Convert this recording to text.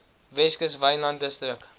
weskus wynland distrik